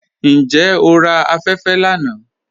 Njẹ́ o rà afẹ̀fẹ̀ lána?